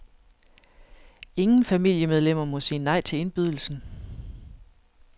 Ingen familiemedlemmer må sige nej til indbydelsen.